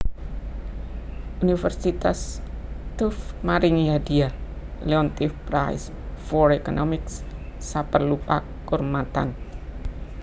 Universitas Tufts maringi hadhiah Leontief Prize for Economics saperlu pakurmatan